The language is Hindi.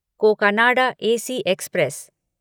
Cocanada AC express